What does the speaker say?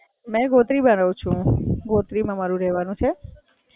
મે ગોત્રી માં રહું છું, ગોત્રી માં રહવાનું છે.